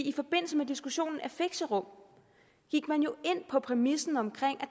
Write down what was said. i forbindelse med diskussionen af fixerum gik man jo ind på præmissen om